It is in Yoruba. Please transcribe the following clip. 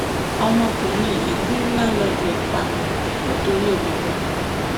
ọmọkùnrin yìí gùn láńlọọdù ẹ pa nítorí obìnrin